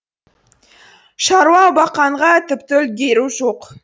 шаруа баққанға тіпті үлгеру жоқ